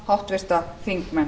háttvirta þingmenn